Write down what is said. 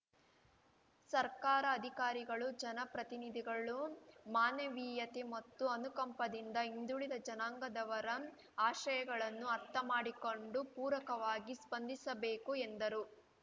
ಸರ್ಕಾರ ಅಧಿಕಾರಿಗಳು ಜನಪ್ರತಿನಿಧಿಗಳು ಮಾನವೀಯತೆ ಮತ್ತು ಅನುಕಂಪದಿಂದ ಹಿಂದುಳಿದ ಜನಾಂಗದವರ ಆಶಯಗಳನ್ನು ಅರ್ಥ ಮಾಡಿಕೊಂಡು ಪೂರಕವಾಗಿ ಸ್ಪಂದಿಸಬೇಕು ಎಂದರು